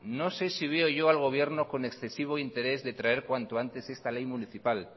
no sé si veo yo al gobierno con excesivo interés de traer cuanto antes esta ley municipal